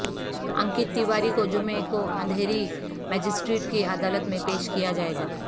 انکت تیواری کو جمعے کو اندھیری مجسٹریٹ کی عدالت میں پیش کیا جائے گا